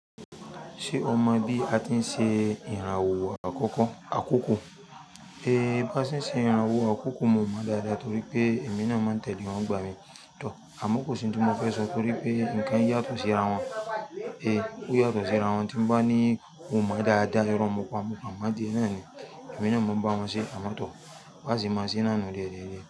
Ṣé o mọ bí a ti ń ṣe ìràwọ̀ àkókò? Bá ṣe ń ṣe ìràwọ̀ àkókò mo mọ̀ dáadáa torí pé èmi náà máa ń tẹ̀lé wọn gbà mí tọ̀. Àmọ́ kò sí ohun tí mo fẹ́ sọ torí pé nǹkan yàtọ̀ sí ara wọn. Ó yàtọ̀ sí ara wọn tí ń bá ní mo mọ̀ dáadáa. Ọ̀rọ̀ mòpọ̀ àmupọ̀ àmáde náà ni èmi náà máa ń bá wọn ṣe àmọ́ tọ̀, wọ́n sì máa ń ṣe náà ní rere.